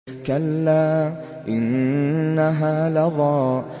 كَلَّا ۖ إِنَّهَا لَظَىٰ